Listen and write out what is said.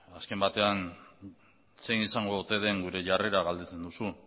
azken batean zein izango ote den gure jarrera galdetzen duzu